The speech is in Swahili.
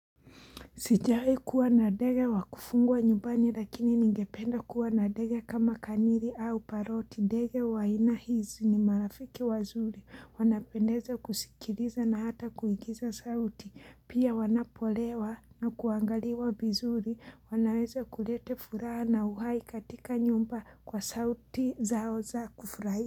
Sijai kuwa nadege wakufugwa nyumbani lakini ningependa kuwanadege kama kaniri au paroti. Ndege wa aina hizi ni marafiki wazuri. Wanapendeza kusikiriza na hata kuigiza sauti. Pia wanapolewa na kuangaliwa bizuri. Wanaweza kulete furaha na uhai katika nyumba kwa sauti zao za kufurahia.